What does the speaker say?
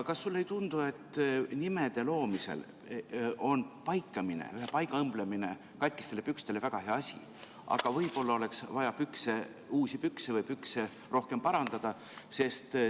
Kas sulle ei tundu, et nimede loomisel on paikamine, paiga õmblemine katkistele pükstele väga hea asi, aga võib-olla oleks vaja uusi pükse või tuleks pükse rohkem parandada?